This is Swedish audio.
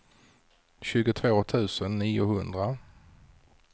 tjugotvå tusen niohundra